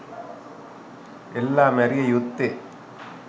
එල්ලා මැරිය යුත්තේ